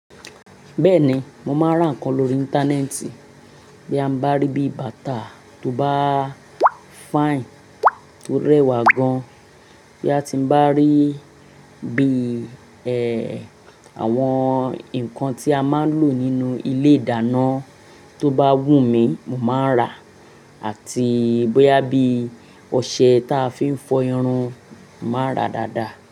Bẹ́ẹ̀ni, mo máa ń rà nǹkan lórí Íńtánẹ́ẹ̀tì. Bí ya n bá rí bí bàtà tó bá fine tó rẹwà gan, bí a ti n bá rí bí, ẹ, àwọn nǹkan tí a máa ń lò nínú ilé ìdáná tó bá wù mí, mo máa n rà á. Àti bóyá bí ọṣẹ táa fi ń fọ irun, màá n rà dáadáa.